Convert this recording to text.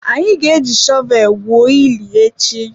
Anyị ga-eji shọvel gwuo ili echi.